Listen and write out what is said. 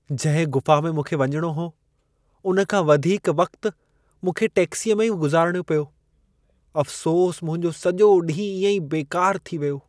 जंहिं गुफ़ा में मूंखे वञणो हो उन खां वधीक वक़्तु मूंखे टैक्सीअ में ई गुज़ारिणो पियो। अफ़सोसु, मुंहिंजो सॼो ॾींहुं इएं ई बेकारु थी वियो।